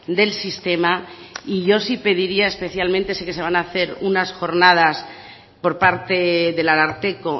del sistema y yo sí pediría especialmente sé que se van a hacer unas jornadas por parte del ararteko